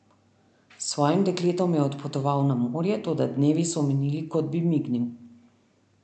S svojim dekletom je odpotoval na morje, toda dnevi so minili, kot bi mignil.